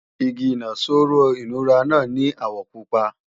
Igi ìnaṣọró aṣọ ìnura náà ní àwọ̀ pupa